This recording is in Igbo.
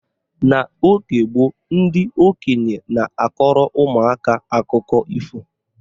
N'oge gboo, ndị okenye na-akọrọ ụmụaka akụkọ ifo